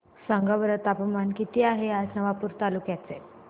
सांगा बरं तापमान किता आहे आज नवापूर तालुक्याचे